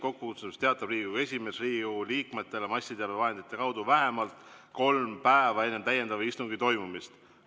"Kokkukutsumisest teatab Riigikogu esimees Riigikogu liikmetele massiteabevahendite kaudu vähemalt kolm päeva enne täiendava istungi toimumist.